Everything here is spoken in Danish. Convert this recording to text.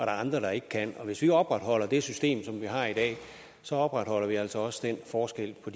andre der ikke kan og hvis vi opretholder det system som vi har i dag opretholder vi altså også den forskel på